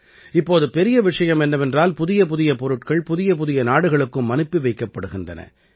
இப்போது பெரிய விஷயம் என்னவென்றால் புதியபுதிய பொருட்கள் புதியபுதிய நாடுகளுக்கும் அனுப்பி வைக்கப்படுகின்றன